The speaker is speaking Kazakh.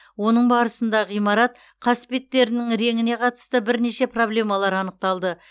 оның барысында ғимарат қасбеттерінің реңіне қатысты бірнеше проблемалар анықталды